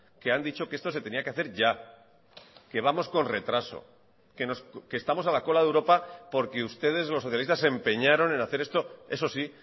que han dicho que esto se tenía que hacer ya que vamos con retraso que estamos a la cola de europa porque ustedes los socialistas se empeñaron en hacer esto eso sí